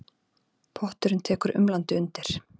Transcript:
Potturinn tekur umlandi undir.